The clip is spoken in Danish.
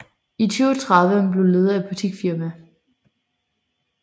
I 2030 er hun blevet leder af boutiquefirma